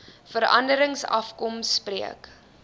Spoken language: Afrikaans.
veranderings afkom spreek